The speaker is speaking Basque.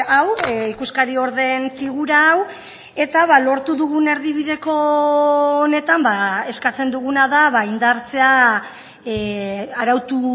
hau ikuskariordeen figura hau eta lortu dugun erdibideko honetan eskatzen duguna da indartzea arautu